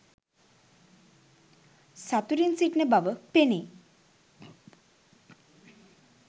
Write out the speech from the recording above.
සතුටින් සිටින බව පෙනේ.